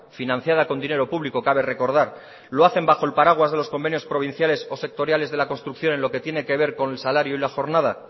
financiada con dinero público cabe recordar lo hacen bajo el paraguas de los convenios provinciales o sectoriales de la construcción en lo que tiene que ver con el salario y la jornada